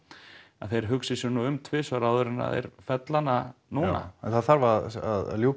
að þeir hugsi sig nú um tvisvar áður en þeir fella hana núna já en það þarf að ljúka